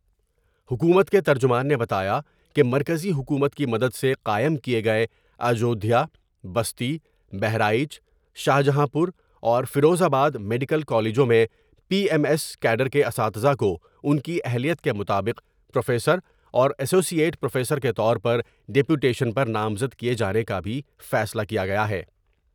حکومت کے ترجمان نے بتایا کہ مرکزی حکومت کی مدد سے قائم کئے گئے اجودھیا بستی ، بہرائچ شاہجہاں پوراورفروز آبادمیڈیکل کالجوں میں پی ایم ایس کیڈر کے اساتذہ کو ان کی اہلیت کے مطابق پروفیسراورایسوسی ایٹ پروفیسر کے طور پر ڈیپوٹیشن پر نامزد کئے جانے کا بھی فیصلہ کیا گیا ہے ۔